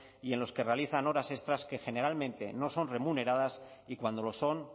y en los que realizan horas extras que generalmente no son remuneradas y cuando lo son